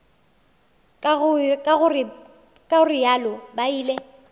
ka go realo ba ile